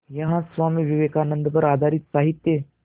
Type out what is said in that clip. यहाँ स्वामी विवेकानंद पर आधारित साहित्य